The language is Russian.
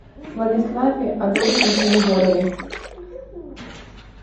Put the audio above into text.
владиславе адольфовиче егорове